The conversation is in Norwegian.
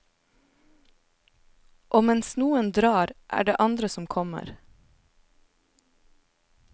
Og mens noen drar, er det andre som kommer.